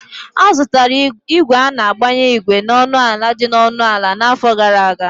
A zụtara ígwè a na-agbanye ígwè na ọnụ ala dị ọnụ ala n'afọ gara aga